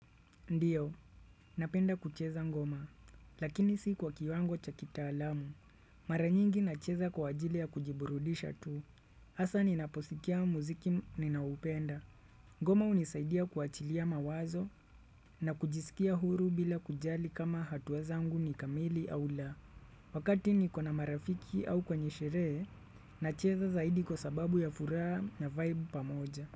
Ndio, napenda kucheza ngoma, lakini si kwa kiwango cha kitaalamu. Mara nyingi nacheza kwa ajili ya kujiburudisha tu. Hasa ninaposikia muziki ninaupenda. Ngoma hunisaidia kuachilia mawazo na kujisikia huru bila kujali kama hatua zangu ni kamili au la. Wakati niko na marafiki au kwenye sherehe nacheza zaidi kwa sababu ya furaha na vibe pamoja.